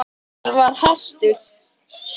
Gunnar var hastur.